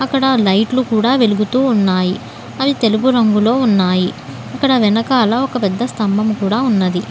ఇక్కడ లైట్లు కుడా వెలుగుతు ఉన్నాయి అవి తెలుపు రంగులో ఉన్నాయి అక్కడ వెనకాల ఒక పెద్ద స్థాభం కుడా ఉన్నాది.